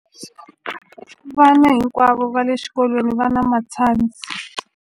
Vana hinkwavo exikolweni va na matshansi.